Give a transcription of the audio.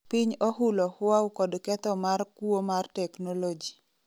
piny ohulo Huaw kod ketho mar kuo mar teknoloji